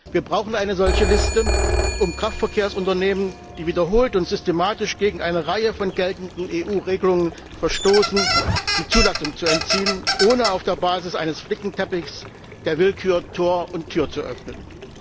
Wir brauchen eine solche Liste, um Kraftverkehrsunternehmen, die wiederholt und systematisch gegen eine Reihe von geltenden EU Regelungen verstoßen, die Zulassung zu entziehen, ohne auf der Basis eines Flickenteppichs der Willkür Tür und Tor zu öffnen.